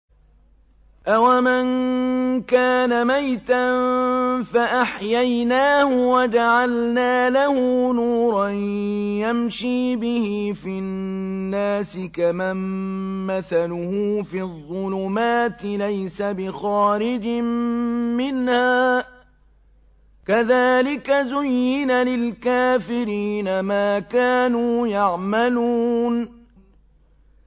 أَوَمَن كَانَ مَيْتًا فَأَحْيَيْنَاهُ وَجَعَلْنَا لَهُ نُورًا يَمْشِي بِهِ فِي النَّاسِ كَمَن مَّثَلُهُ فِي الظُّلُمَاتِ لَيْسَ بِخَارِجٍ مِّنْهَا ۚ كَذَٰلِكَ زُيِّنَ لِلْكَافِرِينَ مَا كَانُوا يَعْمَلُونَ